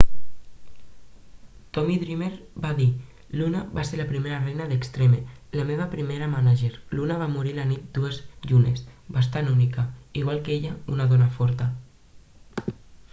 tommy dreamer va dir luna va ser la primera reina d'extreme la meva primera mànager luna va morir la nit de dues llunes bastant única igual que ella una dona forta